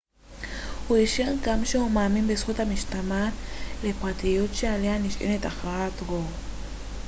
הוא אישר גם שהוא מאמין בזכות המשתמעת לפרטיות שעליה נשענה הכרעת רו